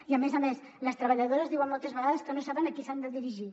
i a més a més les treballadores diuen moltes vegades que no saben a qui s’han de dirigir